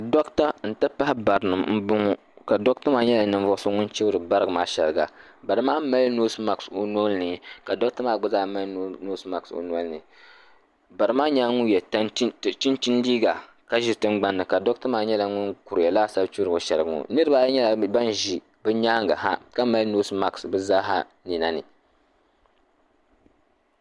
Doɣate n ti pahi barinima m boŋɔ ka doɣata maa nyɛla ninvuɣuso ŋun chibri bari ŋɔ maa sheriga bari maa mali noosi maaki o nolini ka doɣata maa gba mali noosi maaki o nolini barimaa nyɛla ŋun ye chinchini liiga ka ʒi tingbanni ka doɣata maa nyɛla ŋun kuruya laasabu chibri sheriga ŋɔ niriba ayi nyɛla nan ʒi bɛ nyaanga ha ka mali noosi maaki bɛ zaaha ninani.